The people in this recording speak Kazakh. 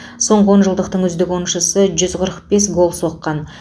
соңғы он жылдықтың үздік ойыншысы жүз қырық бес гол соққан